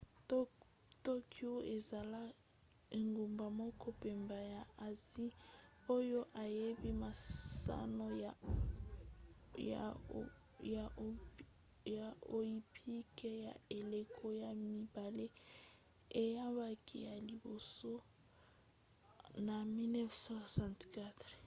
tokyo ekozala engumba moko pamba ya asie oyo eyambi masano ya oympique ya eleko ya mibale eyambaki ya liboso na 1964